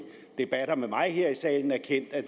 debatter med mig her i salen erkendt at